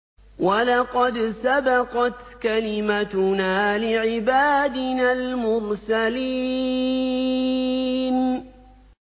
وَلَقَدْ سَبَقَتْ كَلِمَتُنَا لِعِبَادِنَا الْمُرْسَلِينَ